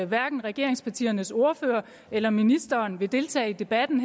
hverken regeringspartiernes ordførere eller ministeren vil deltage i debatten